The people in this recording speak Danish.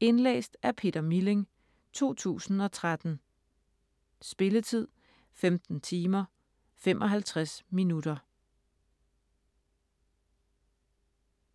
Indlæst af Peter Milling, 2013. Spilletid: 15 timer, 55 minutter.